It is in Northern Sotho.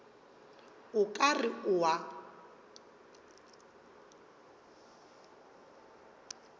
o ka re o a